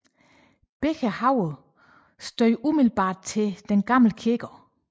Begge haver stødede umiddelbart til den Gamle Kirkegård